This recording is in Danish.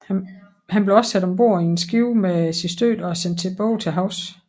Han blev også sat ombord i et skib med sine støtter og sendt tilbage til havs